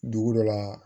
Dugu dɔ la